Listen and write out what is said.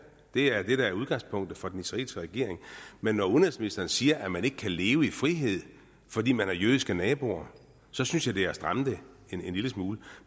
det er det der er udgangspunktet for den israelske regering men når udenrigsministeren siger at man ikke kan leve i frihed fordi man har jødiske naboer så synes jeg det er at stramme den en lille smule